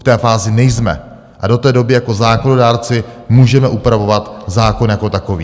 V té fázi nejsme a do té doby jako zákonodárci můžeme upravovat zákon jako takový.